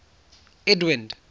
edwind